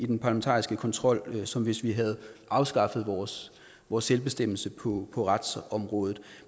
i den parlamentariske kontrol som hvis vi havde afskaffet vores vores selvbestemmelse på retsområdet